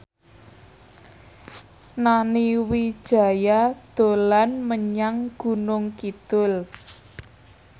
Nani Wijaya dolan menyang Gunung Kidul